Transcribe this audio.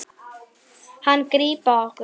Hann grípa okkur.